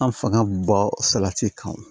An fanga ba salati kan wo